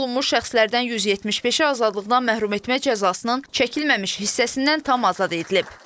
Əfv olunmuş şəxslərdən 175-i azadlıqdan məhrum etmə cəzasının çəkilməmiş hissəsindən tam azad edilib.